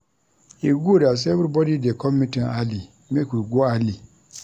E good as everybody dey come meeting early make we go early.